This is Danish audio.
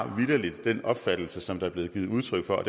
har vitterlig den opfattelse som der er blevet givet udtryk for